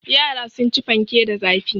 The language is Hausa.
Yara sun ci fanke da zafi.